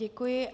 Děkuji.